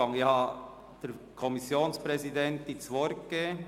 Ich habe der Kommissionsvizepräsidentin das Wort gegeben.